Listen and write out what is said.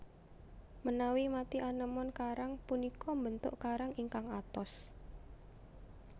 Menawi mati anémon karang punika mbentuk karang ingkang atos